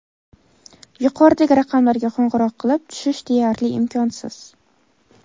Yuqoridagi raqamlarga qo‘ng‘iroq qilib tushish deyarli imkonsiz.